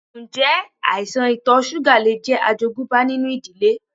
Ǹjẹ́ àìsàn ito súgà lè jẹ́ àjogúnbá nínú ìdílé?